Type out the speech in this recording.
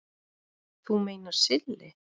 Þú meinar Silli?